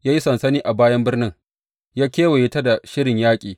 Ya yi sansani a bayan birnin, ya kewaye ta da shirin yaƙi.